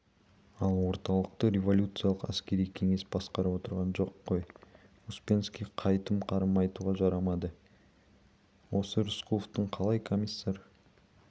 ал орталықты революциялық әскери кеңес басқарып отырған жоқ қой успенский қайтып қарым айтуға жарамады осы рысқұловтың қалай комиссар